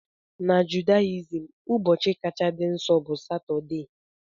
Na Judaism, ụbọchị kacha dị nsọ bụ Satọdee.